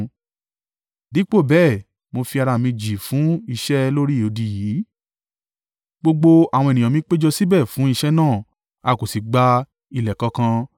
Dípò bẹ́ẹ̀, mo fi ara mi jì fún iṣẹ́ lórí odi yìí. Gbogbo àwọn ènìyàn mi péjọ síbẹ̀ fún iṣẹ́ náà; a kò sì gba ilẹ̀ kankan.